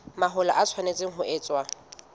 mahola e tshwanetse ho etswa